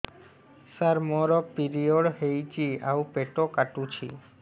ସାର ମୋର ପିରିଅଡ଼ ହେଇଚି ଆଉ ପେଟ କାଟୁଛି